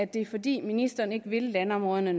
det er fordi ministeren ikke vil landområderne